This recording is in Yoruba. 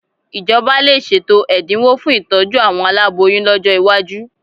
Ìjọba lè ṣètò ẹ̀dinwó fún ìtójú àwọn aláboyún lọ́jọ́ iwájú